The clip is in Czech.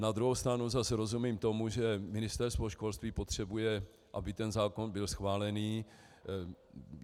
Na druhou stranu zase rozumím tomu, že Ministerstvo školství potřebuje, aby ten zákon byl schválen.